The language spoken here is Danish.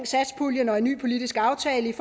satspuljen og en ny politisk aftale